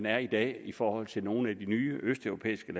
er i dag i forhold til nogle af de nye østeuropæiske